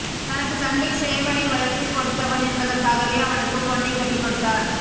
தனக்குச் சண்டை சேவலை வளர்த்து கொடுத்தவன் என்பதற்காகவே அவனுக்குப் பொண்ணைக் கட்டிக் கொடுத்தார்